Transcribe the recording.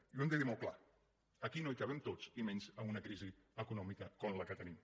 i ho hem de dir molt clar aquí no hi cabem tots i menys amb una crisi econòmica com la que tenim